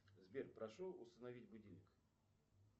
сбер прошу установить будильник